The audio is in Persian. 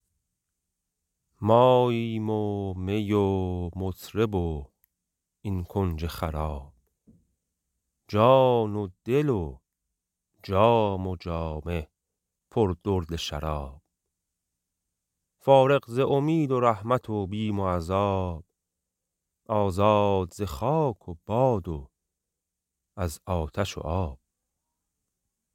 ماییم و می و مطرب و این کنج خراب جان و دل و جام و جامه پر درد شراب فارغ ز امید رحمت و بیم عذاب آزاد ز خاک و باد و از آتش و آب